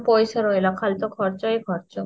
ପଇସା ରହିଲା ଖାଲି ତ ଖର୍ଚ୍ଚ ହିଁ ଖର୍ଚ୍ଚ